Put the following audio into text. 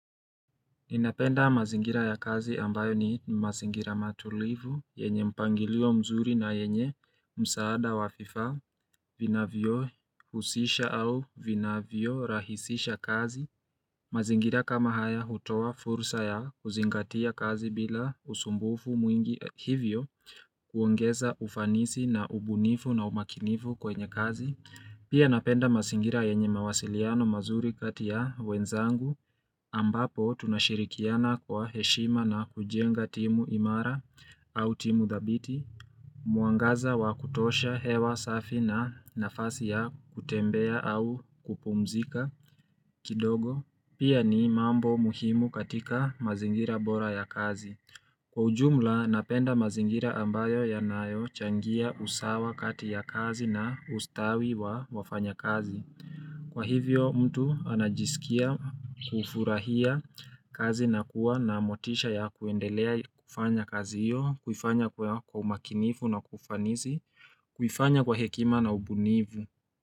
Ninapenda mazingira ya kazi ambayo ni mazingira matulivu, yenye mpangilio mzuri na yenye msaada wa vifaa, vinavyohusisha au vinavyorahisisha kazi. Mazingira kama haya hutoa fursa ya kuzingatia kazi bila usumbufu mwingi hivyo kuongeza ufanisi na ubunifu na umakinifu kwenye kazi. Pia napenda mazingira yenye mawasiliano mazuri kati ya wenzangu ambapo tunashirikiana kwa heshima na kujenga timu imara au timu dhabiti, mwangaza wa kutosha hewa safi na nafasi ya kutembea au kupumzika kidogo. Pia ni mambo muhimu katika mazingira bora ya kazi. Kwa ujumla napenda mazingira ambayo yanayo changia usawa kati ya kazi na ustawi wa wafanya kazi. Kwa hivyo mtu anajisikia kufurahia kazi na kuwa na motisha ya kuendelea kufanya kazi hiyo, kufanya kwa umakinifu na kufanizi, kufanya kwa hekima na ubunivu.